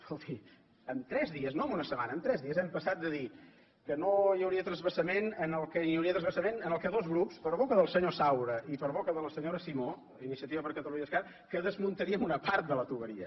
escolti en tres dies no en una setmana en tres dies hem passat de dir que no hi hauria transvasament que hi hauria transvasament i que dos grups per boca del senyor saura i per boca de la senyora simó d’iniciativa per catalunya i esquerra que desmuntaríem una part de la canonada